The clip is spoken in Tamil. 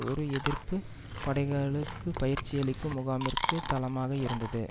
ஒரு எதிர்ப்பு படைகளுக்கு பயிற்சியளிக்கும் முகாமிற்கு தளமாக இருந்தது